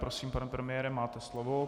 Prosím, pane premiére, máte slovo.